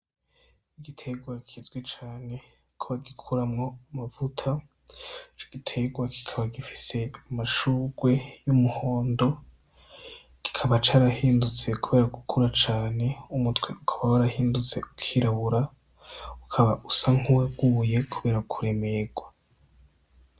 Igiterwa kizwi cane ko bagikuramwo amavuta, ico giterwa kikaba gifise amashugwe y'umuhondo, kikaba carahindutse kubera gukura cane. Umutwe ukaba warahindutse ukirabura ukaba usa nk'uwaguye kubera kuremerwa.